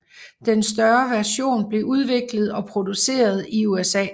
Den større version blev udviklet og produceret i USA